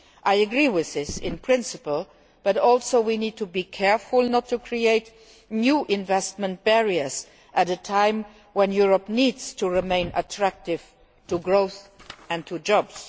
I agree with this in principle, but also we need to be careful not to create new investment barriers at a time when Europe needs to remain attractive to maintain growth and jobs.